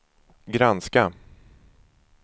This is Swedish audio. granska